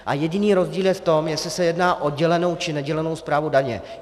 A jediný rozdíl je v tom, jestli se jedná o dělenou, či nedělenou správu daně.